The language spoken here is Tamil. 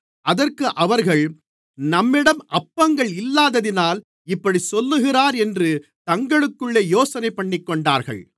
அதற்கு அவர்கள் நம்மிடம் அப்பங்கள் இல்லாததினால் இப்படிச் சொல்லுகிறார் என்று தங்களுக்குள்ளே யோசனைபண்ணிக்கொண்டார்கள்